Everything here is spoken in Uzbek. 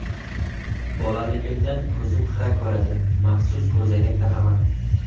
Bolaligimdan ko‘zim xira ko‘radi, maxsus ko‘zoynak taqaman.